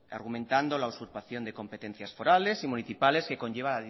argumentando la usurpación de competencias forales y municipales que conlleva